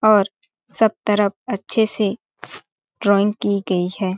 और सब तरफ अच्छे से ड्राइंग की गई है।